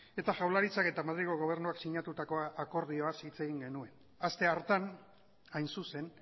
eta jaurlaritzak eta madrilgo gobernuak sinatutako akordioaz hitz egin genuen aste hartan hain zuzen